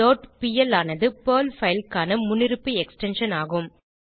dot PL ஆனது Perl file க்கான முன்னிருப்பு எக்ஸ்டென்ஷன் ஆகும்